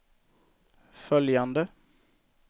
följande